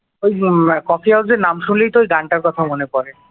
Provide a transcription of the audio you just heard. ওই উম কফি হাউজের নাম শুনলেই তো ওই গানটার কথা মনে পড়ে